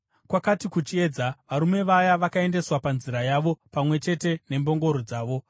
Kwakati kuchiedza, varume vaya vakaendeswa panzira yavo pamwe chete nembongoro dzavo.